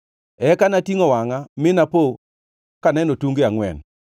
Eka natingʼo wangʼa, mi napo kaneno tunge angʼwen!